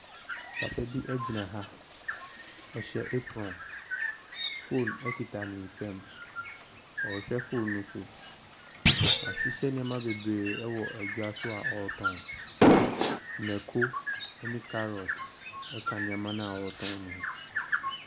Papa bi gyina ha, ɔhyɛ apron, phone kita ne nsa mu ɔrehwɛ phone ne so. Wahyehyɛ nneɛma bebree wɔ dwa so a ɔretɔn. Mako ne carrot ka nneɛma no a ɔretɔn ne ho.